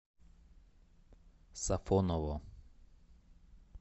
сафоново